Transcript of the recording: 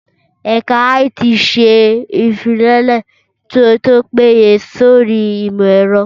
Ẹ̀ka IT ṣe ìfilọ́lẹ̀ tó péye sórí ìmọ̀ ẹ̀rọ